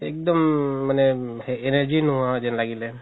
একদম মানে energy নোহুৱা যেন লাগিলে